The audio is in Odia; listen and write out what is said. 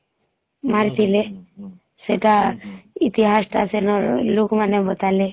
ମାରିଥିଲେ ହୁଁ ହୁଁ ସେଟା ଇତିହାସ ଟା ସେ ନ ଲୁକ ମାନେ ବତାଲେ